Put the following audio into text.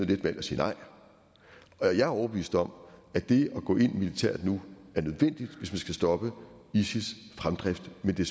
let valg at sige nej og jeg er overbevist om at det at gå ind militært nu er nødvendigt hvis man skal stoppe isils fremdrift men det